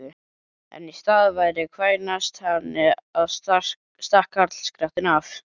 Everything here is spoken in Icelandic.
En í stað þess að kvænast henni stakk karlskrattinn af!